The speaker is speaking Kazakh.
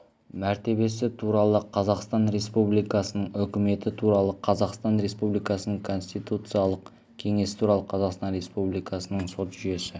мәртебесі туралы қазақстан республикасының үкіметі туралы қазақстан республикасының конституциялық кеңесі туралы қазақстан республикасының сот жүйесі